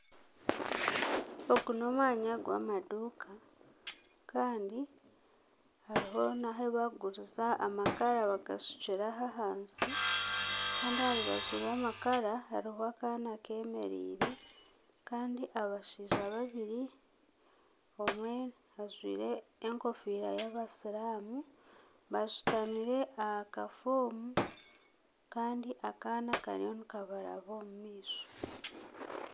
Ogu n'omwanya gw'amaduuka kandi hariho nahubakuguriza amakara bagashukire aho ahansi kandi aha rubaju rw'amakara hariho akaana kemereire kandi abashaija babiri omwe ajwaire ekofiira y'abasiiramu bashutamire aha kafoomu kandi akaana kariyo nikabaraba omu maisho.